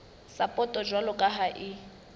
sapoto jwalo ka ha e